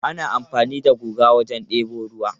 Ana amfani da guga wajen debo ruwa.